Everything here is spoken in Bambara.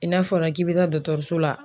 N'a fɔra k'i bɛ taa dɔkitɛriso la